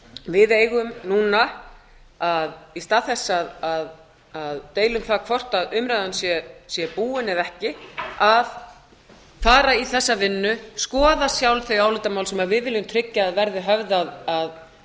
við eigum núna í stað þess að deila um það hvort umræðan sé búin eða ekki að fara í þessa vinnu skoða sjálf þau álitamál sem við viljum tryggja að verði höfð að